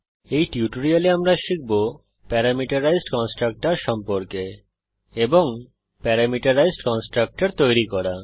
এই টিউটোরিয়ালে আমরা শিখব প্যারামিটারাইজড কন্সট্রকটর সম্পর্কে এবং প্যারামিটারাইজড কন্সট্রকটর তৈরী করা